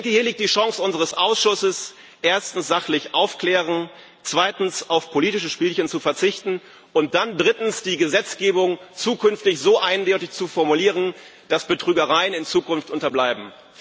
Hier liegt die Chance unseres Ausschusses, erstens sachlich aufzuklären, zweitens auf politische Spielchen zu verzichten, und dann drittens die Gesetzgebung zukünftig so eindeutig zu formulieren, dass Betrügereien in Zukunft unterbleiben.